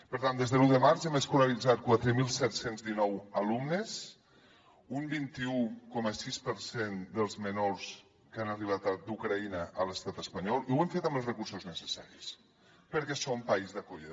per tant des de l’un de març hem escolaritzat quatre mil set cents i dinou alumnes un vint un coma sis per cent dels menors que han arribat d’ucraïna a l’estat espanyol i ho hem fet amb els recursos necessaris perquè som país d’acollida